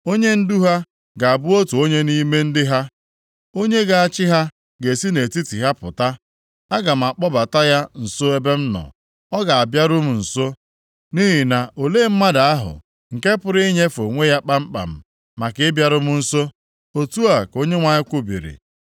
Onyendu ha ga-abụ otu onye nʼime ndị ha; onye ga-achị ha ga-esi nʼetiti ha pụta. Aga m akpọbata ya nso ebe m nọ, ọ ga-abịaru m nso, nʼihi na olee mmadụ ahụ nke pụrụ inyefe onwe ya kpamkpam, maka ịbịaru m nso?’ Otu a ka Onyenwe anyị kwubiri.